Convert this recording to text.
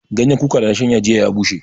Ganyan kuka da na shanya jiya ya bushe